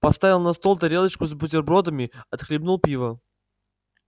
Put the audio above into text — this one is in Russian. поставил на стол тарелочку с бутербродами отхлебнул пива